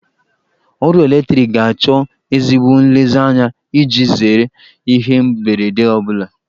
Ọrụ eletriki ga-achọ ezigbo nlezianya iji zere ihe mberede ọ bụla.